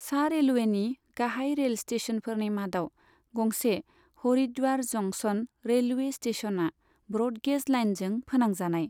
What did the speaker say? सा रेलवेनि गाहाय रेल स्टेशनफोरनि मादाव गंसे हरिद्वार जंक्शन रेलवे स्टेशनआ ब्र'ड गेज लाइनजों फोनांजानाय।